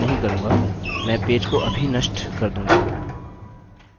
नहीं मैं नहीं करूँगा मैं पेज को अभी नष्ट कर दूँगा